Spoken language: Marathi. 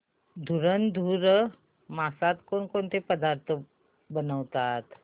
धुंधुर मासात कोणकोणते पदार्थ बनवतात